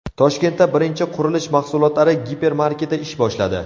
Toshkentda birinchi qurilish mahsulotlari gipermarketi ish boshladi.